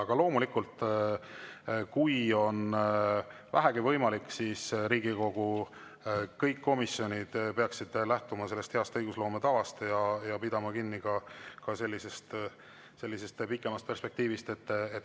Aga loomulikult, kui on vähegi võimalik, siis Riigikogu kõik komisjonid peaksid lähtuma heast õigusloome tavast ja pidama kinni sellisest pikemast perspektiivist.